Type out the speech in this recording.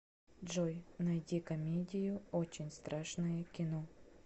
джой найди комедию очень страшное кино